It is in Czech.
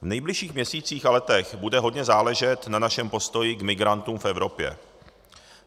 V nejbližších měsících a letech bude hodně záležet na našem postoji k migrantům v Evropě.